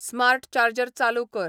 smart charger चालू कर